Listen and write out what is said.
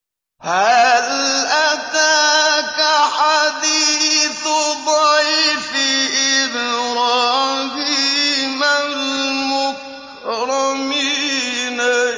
هَلْ أَتَاكَ حَدِيثُ ضَيْفِ إِبْرَاهِيمَ الْمُكْرَمِينَ